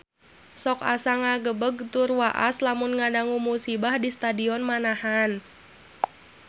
Sok asa ngagebeg tur waas lamun ngadangu musibah di Stadion Manahan